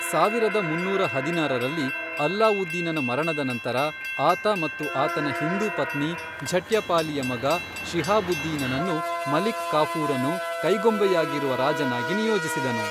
ಸಾವಿರದ ಮುನ್ನೂರ ಹದಿನಾರರಲ್ಲಿ, ಅಲ್ಲಾವುದ್ದೀನನ ಮರಣದ ನಂತರ, ಆತ ಮತ್ತು ಆತನ ಹಿಂದೂ ಪತ್ನಿ ಝಟ್ಯಪಾಲಿಯ ಮಗ ಶಿಹಾಬುದ್ದೀನನನ್ನು ಮಲಿಕ್ ಕಾಫೂರನು ಕೈಗೊಂಬೆಯಾಗಿರುವ ರಾಜನಾಗಿ ನಿಯೋಜಿಸಿದನು.